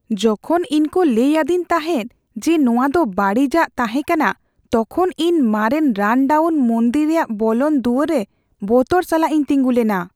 ᱡᱚᱠᱷᱚᱱ ᱤᱧᱠᱚ ᱞᱟᱹᱭ ᱟᱹᱫᱤᱧ ᱛᱟᱦᱮᱸᱫ ᱡᱮ ᱱᱚᱶᱟ ᱫᱚ ᱵᱟᱹᱲᱤᱡᱼᱟᱜ ᱛᱟᱦᱮᱸ ᱠᱟᱱᱟ ᱛᱚᱠᱷᱚᱱ ᱤᱧ ᱢᱟᱨᱮᱱ ᱨᱟᱱᱼᱰᱟᱣᱩᱱ ᱢᱚᱱᱫᱤᱨ ᱨᱮᱭᱟᱜ ᱵᱚᱞᱚᱱ ᱫᱩᱣᱟᱹᱨ ᱨᱮ ᱵᱚᱛᱚᱨ ᱥᱟᱞᱟᱜᱼᱤᱧ ᱛᱤᱸᱜᱩ ᱞᱮᱱᱟ ᱾